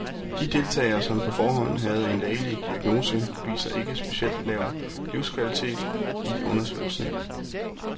De deltagere, som på forhånd havde en lægelig diagnose, viser ikke specielt lav livskvalitet i undersøgelsen.